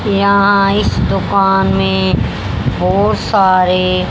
यहां इस दुकान में बहोत सारे--